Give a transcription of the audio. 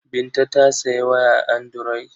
Binta ta sayi waya anduroyi.